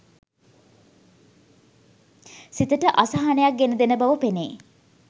සිතට අසහනයක් ගෙන දෙන බව පෙනේ.